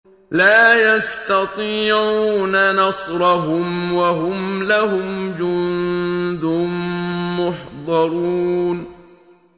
لَا يَسْتَطِيعُونَ نَصْرَهُمْ وَهُمْ لَهُمْ جُندٌ مُّحْضَرُونَ